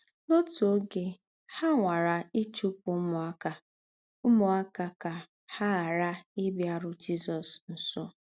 N’ọ́tù ógè, hà nwàrà íchùpụ̀ úmùákà úmùákà kà hà ghàrà íbíàrù Jízọ̀s nsọ̀.